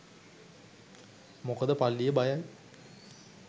මොකද පල්ලිය බයයි